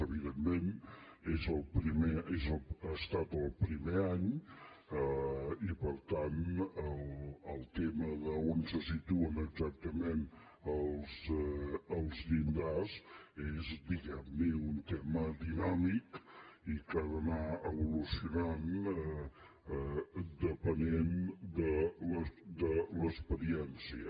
evidentment ha estat el primer any i per tant el tema d’on se situen exactament els llindars és diguem ne un tema dinàmic i que ha d’anar evolucionant depenent de l’experiència